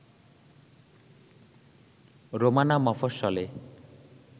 Romana মফস্বলে